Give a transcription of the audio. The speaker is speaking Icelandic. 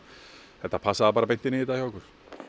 þetta passaði bara beint inn í þetta hjá okkur